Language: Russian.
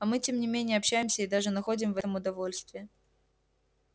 а мы тем не менее общаемся и даже находим в этом удовольствие